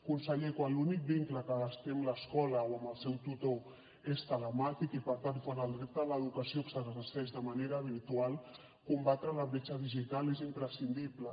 conseller quan l’únic vincle que es té amb l’escola o amb el seu tutor és telemàtic i per tant quan el dret a l’educació s’exerceix de manera virtual combatre la bretxa digital és imprescindible